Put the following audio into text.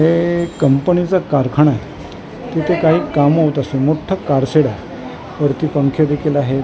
हे कंपनीचा कारखाना आहे तिथे काही कामं होत असतील मोठं कार शेड आहे वरती पंखे देखील आहेत .